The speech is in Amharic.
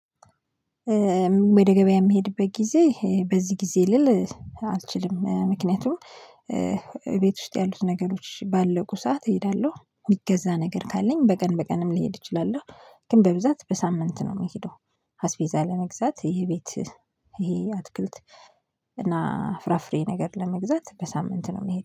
ወደ ገበያ የምሄድበት ጊዜ በዚህ ጊዜ ልል አልችልም ምክንያቱም እቤት ውስጥ ያሉት ነገሮች ባለቁ ሰዓት እሄዳለሁ የሚገዛ ነገር ካለኝ በቀን በቀንም ሊሄድ እችላለሁ። ግን በብዛት በሳምንት ነው የሚሄደው። አስቤዛ ለመግዛት የቤት ይሄ አትክልት እና ፍራፍሬ ነገር ለመግዛት በሳምንት ነው የምሄደው